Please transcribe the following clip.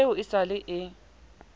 eo e sa le e